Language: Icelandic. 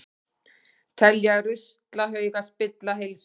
Telja ruslahauga spilla heilsu